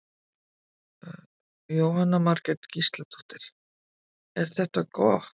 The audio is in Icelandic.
Jóhanna Margrét Gísladóttir: Er þetta gott?